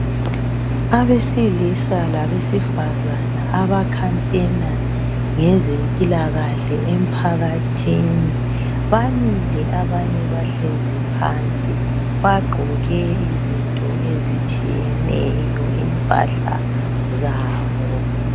Abesilisa labesifazana abakhampena ngezempilakahle emphakathini bamile abanye bahlezi phansi bagqoke izinto ezitshiyeneyo impahla zabo.